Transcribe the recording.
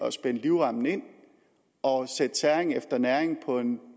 at spænde livremmen ind og sætte tæring efter næring på en